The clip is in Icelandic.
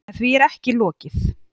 En því er ekki lokið.